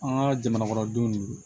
An ka jamana kɔnɔ denw de do